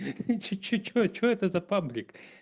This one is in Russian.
и чё чё чё это за паблик